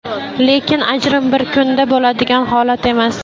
Lekin ajrim bir kunda bo‘ladigan holat emas.